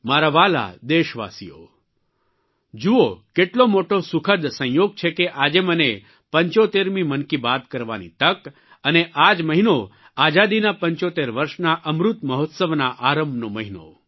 મારા વ્હાલા દેશવાલીઓ જુઓ કેટલો મોટો સુખદ સંયોગ છે કે આજે મને 75મી મનકી બાત કરવાની તક અને આ જ મહિનો આઝાદીના 75 વર્ષના અમૃત મહોત્સવના આરંભનો મહિનો